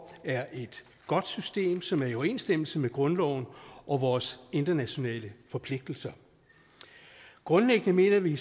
er et godt system som er i overensstemmelse med grundloven og vores internationale forpligtelser grundlæggende mener vi